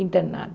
internada.